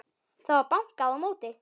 Það var bankað á móti.